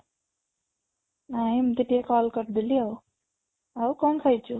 ନାଇଁ ଏମିତି ଟିକେ call କରିଦେଲି ଆଉ, ଆଉ କ'ଣ ଖାଇଛୁ?